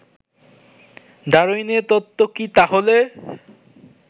ডারউইনের তত্ত্ব কি তাহলে